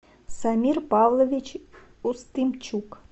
самир павлович устымчук